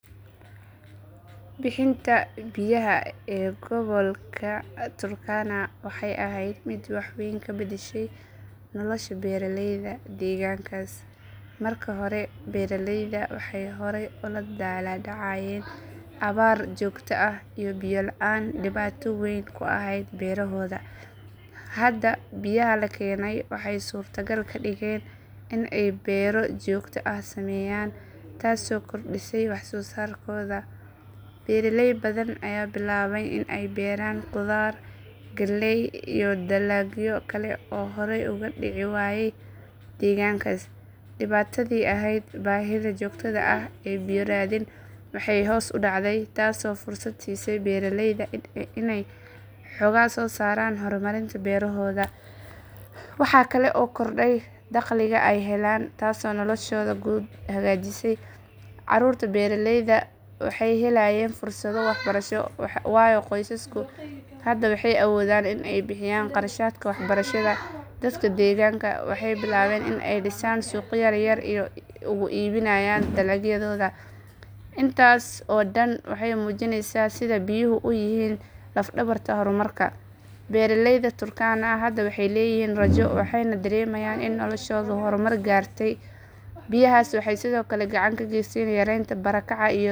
Bixinta biyaha ee gobolka Turkana waxay ahayd mid wax weyn ka beddeshay nolosha beeralayda deegaankaas. Marka hore, beeralayda waxay horey ula daalaa dhacayeen abaar joogto ah iyo biyo la’aan dhibaato weyn ku ahayd beerahooda. Hadda, biyaha la keenay waxay suurtagal ka dhigeen in ay beero joogto ah sameeyaan, taasoo kordhisay waxsoosaarkooda. Beeraley badan ayaa bilaabay in ay beeraan khudaar, galley, iyo dalagyo kale oo horey uga dhici waayay deegaankaas. Dhibaatadii ahayd baahida joogtada ah ee biyo raadin waxay hoos u dhacday, taasoo fursad siisay beeraleyda in ay xooga saaraan horumarinta beerahooda. Waxa kale oo korodhay dakhliga ay helaan, taasoo noloshooda guud hagaajisay. Caruurta beeraleyda waxay helayaan fursado waxbarasho, waayo qoysasku hadda waxay awoodaan in ay bixiyaan kharashaadka waxbarashada. Dadka deegaanka waxay bilaabeen in ay dhisaan suuqyo yar yar si ay ugu iibiyaan dalagyadooda. Intaas oo dhan waxay muujinaysaa sida biyuhu u yihiin laf dhabarta horumarka. Beeraleyda Turkana hadda waxay leeyihiin rajo, waxayna dareemayaan in noloshoodu horumar gaartay. Biyahaas waxay sidoo kale gacan ka geysteen yareynta barakaca.